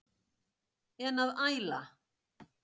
En að æla?